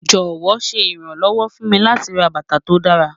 Jọwọ, ṣe iranlọwọ fun mi lati rà bátà tó dàra